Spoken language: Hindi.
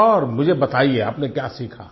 और मुझे बताइए कि आप ने क्या सीखा